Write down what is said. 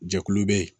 Jɛkulu bɛ yen